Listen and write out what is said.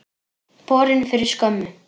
Borin fyrir skömmu.